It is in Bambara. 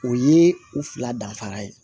O ye u fila danfara ye